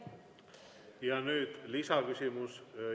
Ja nüüd lisaküsimus.